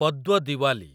Padwa Diwali